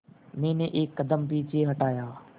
मैंने एक कदम पीछे हटाया